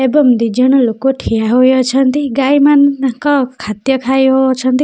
ଏବଂ ଦିଜଣ ଲୋକ ଠିଆ ହୋଇଅଛନ୍ତି ଗାଈମାନେ ତାଙ୍କ ଖାଦ୍ୟ ଖାଇଉ ଅଛନ୍ତି ।